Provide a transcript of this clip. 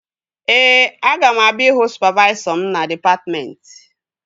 Ee, aga m abịa ịhụ sụpavaisọ m na dịpatmentị